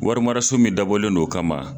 Warimaraso min dabɔlen don o kama